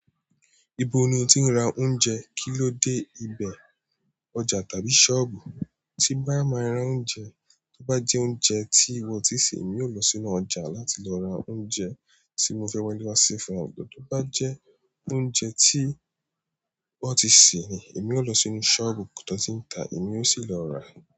Ibo ni o ti ń ra oúnjẹ? Kí ló dé, ibẹ̀, ọjà tàbí sọ́ọ̀bù? Tí n bá máa ra oúnjẹ toba jẹ oúnjẹ tí wọn ò ti i ṣe ni èmi ò lọ sínú ọjà láti lọ ra oúnjẹ tí mo fẹ wale wa se. Tó bá jẹ oúnjẹ tí wọ́n ti sè ni, èmi ò lọ sí inú sọọbu tiwọn tí n ta èmi ò sì lọ ra.